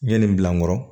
N ye nin bila n kɔrɔ